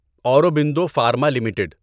Aurobindo Pharma limited